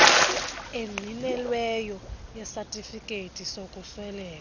engqinelweyo yesatifiketi sokusweleka